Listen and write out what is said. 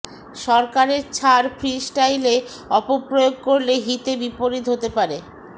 সরকারের ছাড় ফ্রি স্টাইলে অপপ্রয়োগ করলে হিতে বিপরীত হতে পারে